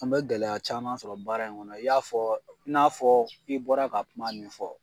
An bɛ gɛlɛya caman sɔrɔ baara in kɔnɔ i y'a fɔɔ i n'a fɔɔ i bɔra ka kuma min fɔ.